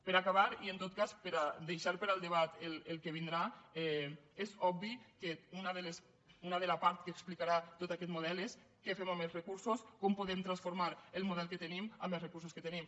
per a acabar i en tot cas per a deixar per al debat el que vindrà és obvi que una de les parts que explicarà tot aquest model és què fem amb els recursos com podem transformar el model que tenim amb els recursos que tenim